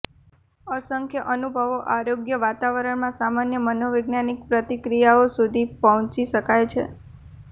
અસંખ્ય અનુભવો અયોગ્ય વાતાવરણમાં સામાન્ય મનોવૈજ્ઞાનિક પ્રતિક્રિયાઓ સુધી પહોંચી શકાય છે